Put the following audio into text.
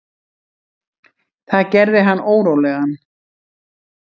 Það gerði hann órólegan.